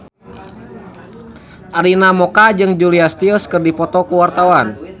Arina Mocca jeung Julia Stiles keur dipoto ku wartawan